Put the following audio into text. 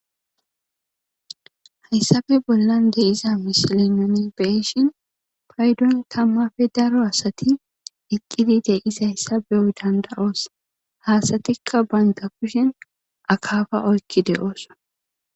haysappe bollan de'iza misile nuni beyshin paydon tamappe daro asati eqqidi de'izaysa beyo danda'os, ha asatika banta kushen akaafa oykki de'osona.